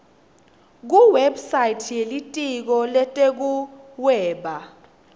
kuwebsite yelitiko letekuhweba